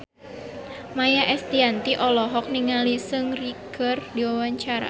Maia Estianty olohok ningali Seungri keur diwawancara